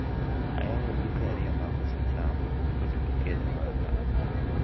oyawo duke ariyo mag uso cham to duto kelo ohala